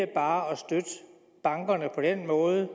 bare støtte bankerne på den måde